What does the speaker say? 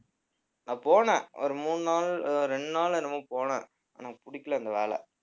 நான் போனேன் ஒரு மூணு நாள் இரண்டு நாள் என்னமோ போனேன் ஆனா புடிக்கலை அந்த வேலை.